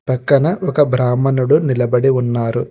పక్కన ఒక బ్రాహ్మణుడు నిలబడి ఉన్నారు.